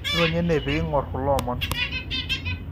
Ironya ene pee iing'or kulo omon.